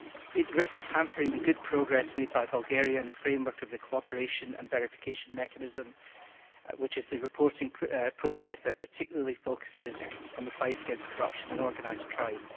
It risks hampering the good progress made by Bulgaria in the framework of the Cooperation and Verification Mechanism, which is the reporting process that particularly focuses on the fight against corruption and organised crime.